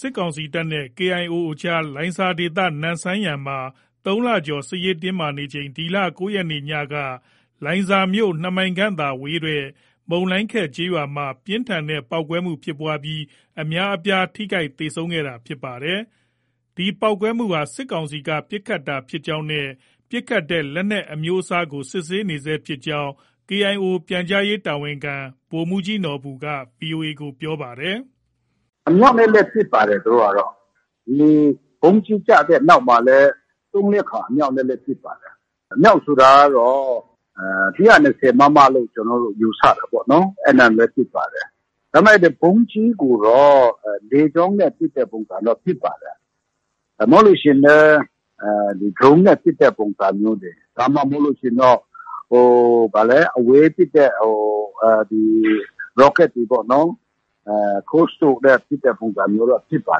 စစ်ကောင်စီတပ်နဲ့ KIO အကြား လိုင်ဇာဒေသ နမ့်ဆန်ယန်မှာ ၃လကျော် စစ်ရေးတင်းမာနေချိန် ဒီလ ၉ရက်နေ့ညက လိုင်ဇာမြို့ ၂မိုင်ခန့်သာကွာဝေးတဲ့ မုန်လိုင်ခက်ကျေးရွာ မှာ ပြင်းထန်တဲ့ တိုက်ခိုက်မှုဖြစ်ပွားပြီး အများအပြား ထိခိုက်သေဆုံးခဲ့တာဖြစ်ပါတယ်။ ဒီတိုက်ခိုက်မှုဟာ စစ်ကောင်စီက ပစ်ခတ်တာဖြစ်ကြောင်းနဲ့ ပစ်ခတ်တဲ့ လက်နက်အမျိုးအစားကို စစ်ဆေးနေဆဲဖြစ်ကြောင်း KIO ပြန်ကြားရေးတာဝန်ခံ ဗိုလ်မှူးကြီးနော်ဘူက VOA ကို ပြောပါတယ်။ “ အမြောက်နဲ့လည်း ပစ်ပါတယ်။ သူတို့ကတော့။ ဒီ ဗုံးကြီး ကျတဲ့နောက်မှာလည်း သုံး- လေးခါ အမြှောက်နဲ့လည်း ပစ်ပါတယ်။ အ‌မြောက်ဆိုတာကတော့ ၁၂၀ မမ လို့ ယူဆတယ်ပေါ့နော်။ အဲဒါနဲ့လည်း ပစ်ပါတယ်။ ဒါပေမဲ့ ဗုံးကြီးကိုတော့ လေကြောင်းနဲ့ ပစ်တဲ့ပုံစံဖြစ်ပါတယ်။ မဟုတ်ရင်လည်း ဒရုန်းနဲ့ပစ်တဲ့ ပုံစံမျိုးတွေ။ ဒါမှ မဟုတ်ရင်တော့ ဟို အဝေးပစ်တဲ့ ရော့ကက်တွေပေါ့နော်။ Cruise တို့နဲ့ ပစ်တဲ့ ပုံစံမျိုးဖြစ်ပါ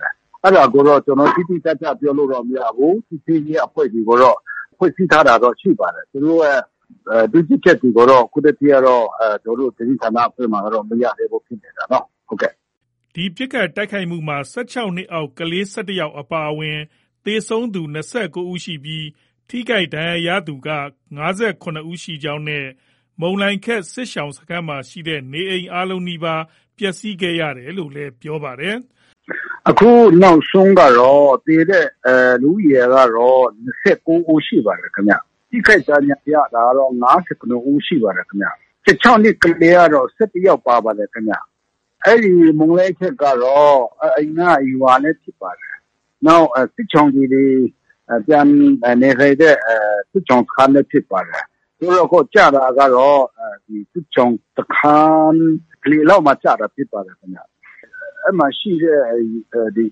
တယ်။ အဲဒါကိုတော့ ကျနော်တို့ တိတိကျကျ ပြောလို့ မရဘူး။ စစ်ဆေးရေးအဖွဲ့တွေကိုတော့ စစ်ဆေးထားတာတော့ရှိပါတယ်။ သူတို့ရဲ့ တွေ့ရှိချက်တွေကိုတော့ အခုထက်ထိကတော့ ကျနော်တို့ သတင်းဌာနအဖွဲ့မှာ မရသေးဘူးဖြစ်နေတာ။” ဒီပစ်ခတ်တိုက်ခိုက်မှုမှာ ၁၆နှစ်အောက် ကလေး ၁၁ ယောက်အပါအဝင် သေဆုံးသူ ၂၉ ဦးရှိပြီး ထိခိုက်ဒဏ်ရာရသူက ၅၇ ဦးရှိကြောင်း နဲ့ မုန်လိုင်ခက်စစ်ရှောင်စခန်းမှာရှိတဲ့ နေအိမ်အားလုံးနီးပါး ပျက်ဆီးခဲ့ရတယ် လို့လည်းပြောပါတယ်။ “ အခုနောက်ဆုံးကတော့ သေတဲ့လူဦးရေကတော့ ၂၉ဦးရှိပါတယ်။ ထိခိုက်ဒဏ်ရာရတာကတော့ ၅၇ ဦး ရှိပါတယ်ခင်ဗျ။ ၁၆နှစ်အောက် ကလေးကတော့ ၁၁ ယောက်ပါပါတယ်ခင်ဗျ။ အဲဒီမုန်လိုင်ခက်ကတော့ အရင်က ရွာလည်းဖြစ်ပါတယ်။ နောက် စစ်ရှောင်တွေ ပြန်နေထိုင်တဲ့ စစ်ရှောင်စခန်းလည်း ဖြစ်ပါတယ်။ အခု ကျတာကတော့ စစ်ရှောင်စခန်း အလယ်လောက်မှာ ဖြစ်ပါတယ်။ အဲဒီမှာရှိတဲ့ အိမ်တွေ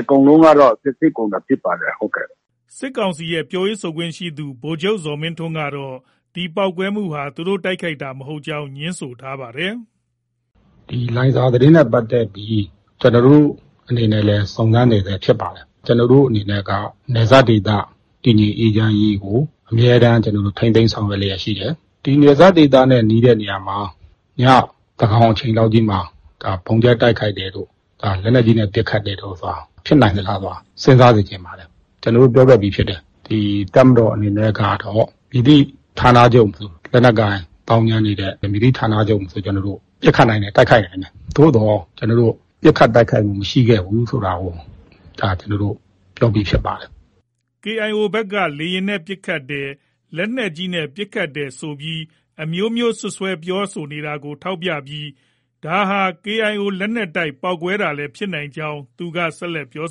အကုန်လုံးကတော့ ပျက်စီးကုန်တာ ဖြစ်ပါတယ်။ ” စစ်ကောင်စီရဲ့ ပြောရေးဆိုခွင့်ရှိသူ ဗိုလ်ချုပ်ဇော်မင်းထွန်းကတော့ ဒီတိုက်ခိုက်မှုဟာ သူတို့ တိုက်ခိုက်တာမဟုတ်ကြောင်း ငြင်းဆိုထားပါတယ်။ “လိုင်ဇာသတင်းနဲ့ပတ်သက်ပြီး ကျွန်တော်တို့အနေနဲ့ စုံစမ်းနေဆဲဖြစ်ပါတယ်။ ကျွန်တော်တို့အနေနဲ့က နယ်စပ်ဒေသတည်ငြိမ်အေးချမ်းရေးကို အမြဲတမ်းထိန်းသိမ်း ဆောင်ရွက်လျှက် ရှိပါတယ်။ ဒီလိုနယ်စပ်ဒေသနဲ့ နီးတဲ့နေရာမှာ ညသန်းခေါင်အချိန်လောက်ကြီးမှာ ဗုံးကြဲတိုက်ခိုက်တယ်တို့၊ လက်နက်ကြီးနဲ့ ပစ်ခတ်တယ်တို့ ဆိုတာ ဖြစ်နိုင်မလားဆိုတာ စဉ်းစားစေချင်ပါတယ်။ ကျွန်တော်တို့ ပြောခဲ့ပြီးဖြစ်တယ်။ တပ်မတော်အနေနဲ့ ကတော့ မည်သည့်ဌာနချုပ်မဆို လက်နက်ကိုင်သောင်းကျန်းနေတဲ့ မည်သည့်ဌာနချုပ်ကိုမဆို ကျွန်တော်တို့ ပစ်ခတ်နိုင်တယ်။ တိုက်ခိုက်နိုင်ပါတယ်။ သို့သော် ကျွန်တော်တို့ ပစ်ခတ်တိုက်ခိုက်မှု မရှိခဲ့ဘူးဆိုတာကို ပြောပြီး ဖြစ်ပါတယ်။” KIO ဘက်က လေယာဉ်နဲ့ ပစ်ခတ်တယ်။ လက်နက်ကြီး ပစ်ခတ်တယ်ဆို အမျိုးမျိုးပြောဆိုနေတယ်လို့ ထောက်ပြပြီး ဒါဟာ KIO လက်နက်တိုက် ပေါက်ကွဲတာလည်း ဖြစ်နိုင်ကြောင်း ဆက်လက် ပြော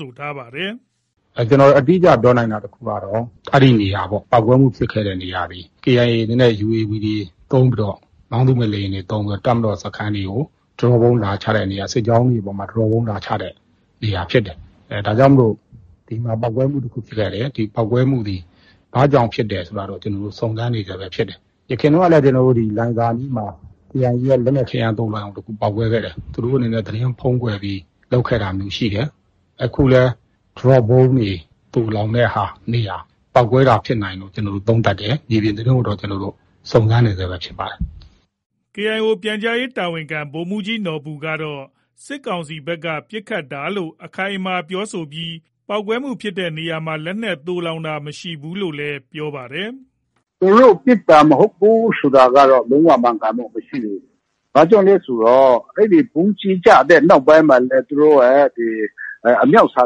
ဆိုထား ပါတယ်။ “ကျွန်တော်အတိအကျပြောနိုင်တာ တခုကတော့ အခုပေါက်ကွဲမှုဖြစ်တဲ့နေရာသည် KIA အနေနဲ့ UAV တွေ၊ မောင်းသူမဲ့လေယာဉ်တွေ သုံးပြီးတော့ တပ်မတော်စခန်းတွေကို Drop Bomb လာချတဲ့နေရာ၊ စစ်ကြောင်းတွေ အပေါ်မှာ Drop Bomb လာချတဲ့ နေရာ ဖြစ်ပါတယ်။ ဒါကြောင့်မို့လို့။ ဒီမှာပေါက်ကွဲမှုတခု ဖြစ်ခဲ့တယ်၊ ဒီပေါက်ကွဲမှုသည် ဘာကြောင့်ဖြစ်တယ်ဆိုတာ ကျွန်တော်တို့စုံစမ်းနေဆဲ ဖြစ်ပါတယ်။ ယခင်တုန်းကလည်း လိုင်ဇာအနီးမှာ KIA ရဲ့လက်နက်ခဲယမ်း သိုလှောင်ရုံတစ်ခု ပေါက်ကွဲခဲ့ဖူးပါတယ်။ သူတိုအနေနဲ့ သတင်း ဖုံးကွယ် ပြီး လုပ်ခဲ့တာမျိုးရှိတယ်။ အခုလည်း Drop Bomb တွေ သိုလှောင်တဲ့နေရာ ပေါက်ကွဲတာ ဖြစ်နိုင် ကြောင်း ကျွန်တော်တို့သုံးသပ်ပါတယ်။ မြေပြင်သတင်းတော့ ကျနော်တို့ စုံစမ်းနေဆဲပဲ ဖြစ်ပါတယ်။” KIO ပြန်ကြားရေးတာဝန်ခံ ဗိုလ်မှူးကြီးနော်ဘူကတော့ စစ်ကောင်စီဘက်က ပစ်ခတ်တာလို့ အခိုင်အမာပြောဆိုပြီး တိုက်ခိုက်မှုဖြစ်တဲ့နေရာမှာ လက်နက်သိုလှောင်တာ မရှိဘူးလို့ ပြောပါတယ်။ “ သူတို့ ပစ်တာ မဟုတ်ဘူး ဆိုတာကတော့ လုံး၀ မှန်ကန်မှုမရှိဘူး။ ဘာကြောင့်လဲဆိုတော့ အဲဒီဗုံးကြီး ကျတဲ့နောက်ပိုင်းလည်း သူတို့ရဲ့ ဒီ အမြောက်ဆံ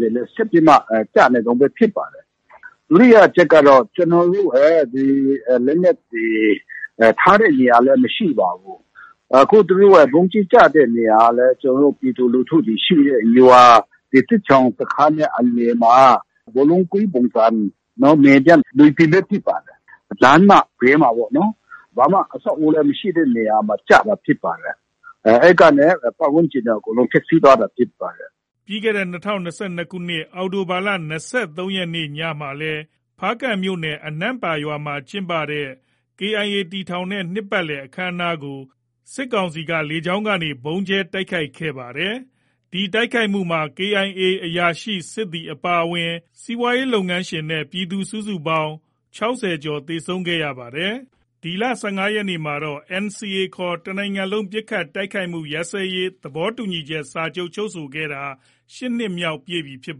တွေ ဆက်ပြီးမှ ကျနေတုံးပဲဖြစ်ပါတယ်။ ဒုတိယအချက်ကတော့ ကျနော်တို့ရဲ့ လက်နက်တွေ ထားတဲ့နေရာလည်း မရှိပါဘူး။ အခုဗုံးကြီးကျတဲ့ နေရာဟာလည်း ကျနော်တို့ ပြည်သူလူထုတွေ ရှိတဲ့ ရွာ၊ စစ်ရှောင်စခန်းရဲ့ အလယ်မှာ ဘောလုံးကွင်းပုံစံ မြေပြန့်မြေပြင်လည်း ဖြစ်ပါတယ်။ လမ်းမဘေးမှာပေါ့နော်။ ဘာမှ အဆောက်အဦးလည်း မရှိတဲ့နေရာမှာ ကျတာဖြစ်ပါတယ်။ အဲဒီကနေ ပတ်ဝန်းကျင်အကုန်လုံး ဖျက်ဆီးသွားတာ ဖြစ်ပါတယ်။” လွန်ခဲ့တဲ့ ၂၀၂၂ခုနှစ် အောက်တိုဘာလ ၂၃ ရက် နေ့ညမှာလည်း ဖားကန့်မြို့နယ် အနန့်ပါရွာမှာ ကျင်းပတဲ့ KIA တည်ထောင်တဲ့ နှစ်ပတ်လည် အခမ်းအနားကို စစ်ကောင်စီက လေကြောင်းက ဗုံးကြဲတိုက်ခိုက်တာ ရှိခဲ့ဖူးပါတယ်။ ဒီတိုက်ခိုက်မှုမှာ KIA အရာရှိ၊ စစ်သည်အပါအဝင် လုပ်ငန်းရှင်နဲ့ ပြည်သူ စုစုပေါင်း ၆၀ ကျော် သေဆုံးခဲ့တဲ့ ဖြစ်စဉ်ဖြစ်ခဲ့ဖူးပါတယ်။ ဒီလ ၁၅ရက်နေ့မှာတော့ NCA ခေါ် တနိုင်ငံလုံးပစ်ခတ်တိုက်ခိုက်မှုရပ်စဲရေး သဘောတူစာချုပ် ချုပ်ဆိုတာ ၈နှစ်ပြည့်မြောက်ပြီ ဖြစ်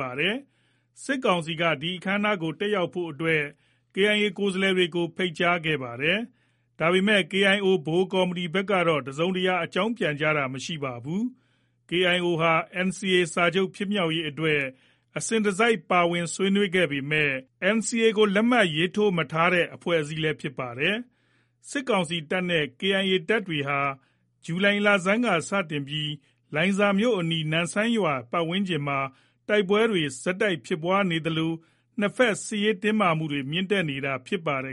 ပါတယ်။ စစ်ကောင်စီက ဒီအခမ်းအနားကို တက်ရောက်ဖို့အတွက် KIO ကိုယ်စားလှယ်တွေကို ဖိတ်ကြားထားပါတယ်။ ဒါပေမဲ့ KIO ဗဟိုကော်မတီဘက်ကတော့ တစုံတရာ အကြောင်း ပြန်ကြားတာ မရှိပါဘူး။ KIO ဟာ NCA စာချုပ် ဖြစ်မြောက်ရေးအတွက် အစဉ်တစိုက် ပါဝင်ဆွေးနွေးခဲ့ပေမဲ့ NCA ကို လက်မှတ် ရေးထိုးတာ မရှိ တဲ့အဖွဲ့လည်း ဖြစ်ပါတယ်။ စစ်ကောင်စီတပ်နဲ့ KIA တပ်တွေဟာ ဇူလိုင်လဆန်းက စတင်ပြီး လိုင်ဇာဒေသအနီး နမ်ဆန်ယန်ရွာဝန်းကျင်မှာ တိုက်ပွဲတွေ ဆက်တိုက်ဖြစ်ပွားနေသလို နှစ်ဘက် စစ်ရေးတင်းမာမှုတွေ မြင့်တက်နေတာဖြစ်ပါတယ်